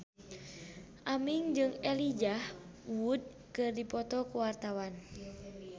Aming jeung Elijah Wood keur dipoto ku wartawan